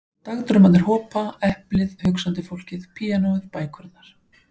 Dagdraumarnir hopa, eplið, hugsandi fólkið, píanóið, bækurnar.